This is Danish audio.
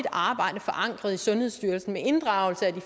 arbejde forankret i sundhedsstyrelsen med inddragelse af de